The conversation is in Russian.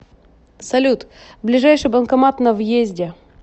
салют ближайший банкомат на въезде